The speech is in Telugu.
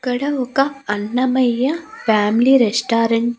ఇక్కడ ఒక అన్నమయ్య ఫ్యామిలీ రెస్టారెంట్ .